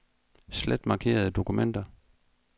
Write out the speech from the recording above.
Slet markerede dokumenter.